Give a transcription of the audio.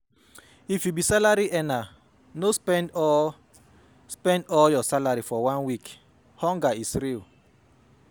If you be salary earner, no spend all spend all your salary for one week, hunger is real